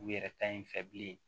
U yɛrɛ ta ye in fɛ bilen